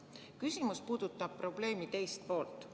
Küsimus puudutab probleemi teist poolt.